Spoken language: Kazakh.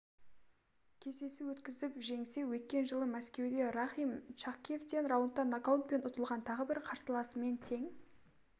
кездесу өткізіп жеңсе өткен жылы мәскеуде рахим чахкиевтен раундта нокаутпен ұтылған тағы бір қарсыласымен тең